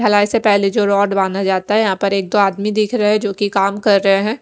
हेलाई से पहले जो रोड बना जाता है यहाँ पर एक दो आदमी दिख रहे है जोकि काम कर रहे है।